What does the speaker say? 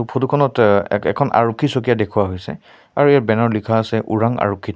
photo খনত অ এ এখন আৰক্ষী চকী ইয়াত দেখুওৱা হৈছে আৰু ইয়াত বেনাৰ ত লিখা আছে ওৰাং আৰক্ষী থান--